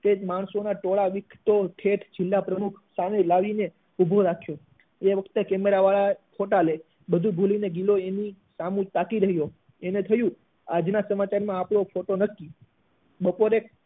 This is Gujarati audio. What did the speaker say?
તે જ માણસો ના ટોળા તો ઠેઠ જિલ્લા પ્રમુખ ને પણ લાવી ને ઉભો રાખ્યો એ વખતે કેમેરા વાળા એ ફોટા લે એ બધું ભૂલી ને ગિલો એની સામું તાકી રહ્યો એને થયું આજ ના સમાચાર માં તો ફોટો નક્કી બપોરે